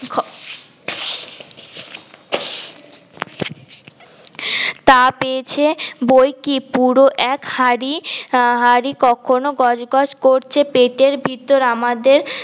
তা পেয়েছে বইকি পুরো এক হাড়ি হাড়ি কখনও গজ গজ করছে পেটের ভিতর আমাদের